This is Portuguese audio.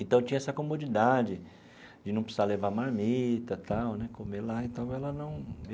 Então, tinha essa comodidade de não precisar levar marmita tal né, comer lá então ela não.